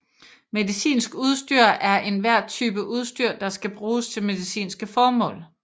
Medicinsk udstyr er enhver type udstyr der skal bruges til medicinske formål